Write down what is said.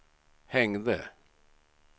hängde